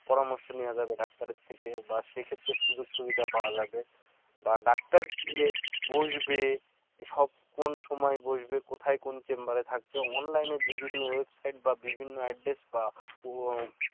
পরামর্শ নেয়া যাবে ডাক্তার থেকে বা সেই ক্ষেত্রে সুযোগ সুবিধা পাওয়া যাবে বা ডাক্তার দিয়ে বসবে সব কোন সময়ে বসবে কোথায় কোন chamber এ থাকছে online বিভিন্ন website বা বিভিন্ন address বা